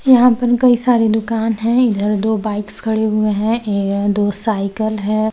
यहाँ पर कई सारी दुकान है इधर दो बाइक्स खड़े हुए है अ-दो साइकिल हैं ।